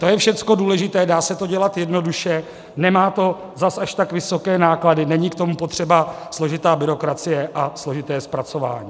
To je všechno důležité, dá se to dělat jednoduše, nemá to zas až tak vysoké náklady, není k tomu potřeba složitá byrokracie a složité zpracování.